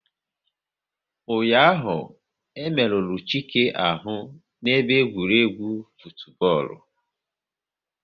Ụnyaahụ, e merụrụ Chike ahụ n'ebe egwuregwu futubọọlu